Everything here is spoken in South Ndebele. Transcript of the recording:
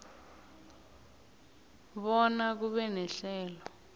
bona kube nehlelo